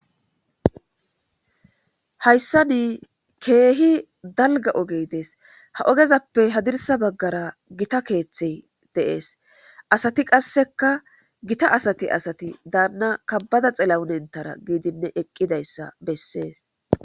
hayssa nii keehi dalga ogey dees ha ogezappe hadirsa baggara gita keeththey deees asati qasseka gita asati asati daanna kabbada xilawunentara giidinne eqqidayssa bessees